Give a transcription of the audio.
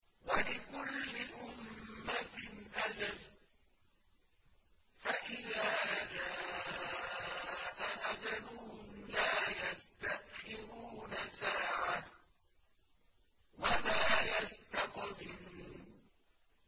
وَلِكُلِّ أُمَّةٍ أَجَلٌ ۖ فَإِذَا جَاءَ أَجَلُهُمْ لَا يَسْتَأْخِرُونَ سَاعَةً ۖ وَلَا يَسْتَقْدِمُونَ